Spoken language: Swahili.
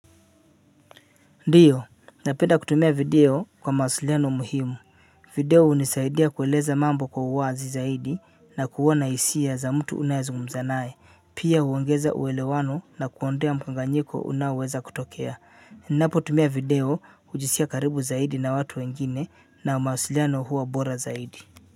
Ndiyo napenda kutumia video kwa mawasiliano muhimu video hunisaidia kueleza mambo kwa uwazi zaidi na kuwa na hisia za mtu unayezungumza naye pia huongeza uwelewano na kuondea mkanganyiko unaoweza kutokea napo tumia video kujisia karibu zaidi na watu wengine na mawasiliano huwa bora zaidi.